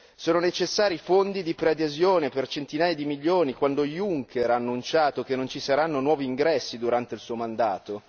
Sono necessari i fondi di preadesione per centinaia di milioni quando Juncker ha annunciato che non ci saranno nuovi ingressi durante il suo mandato?